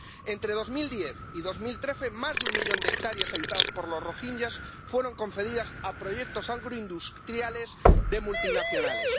Entre 2010 y 2013 más de un millón de hectáreas habitadas por los rohinyás fueron concedidas a proyectos agroindustriales de multinacionales.